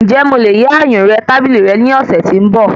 Ǹjẹ́ mo lè yá ayùnré tábìlì rẹ ní ọ̀sẹ̀ tí ń ba?